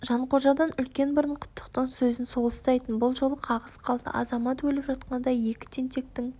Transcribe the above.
жанқожадан үлкен бұрын құттықтың сөзін сол ұстайтын бұл жолы қағыс қалды азамат өліп жатқанда екі тентектің